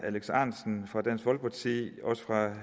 alex ahrendtsen fra dansk folkeparti også fra